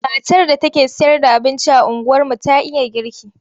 Matar da take sayarda abinci a unguwarmu ta iya girki.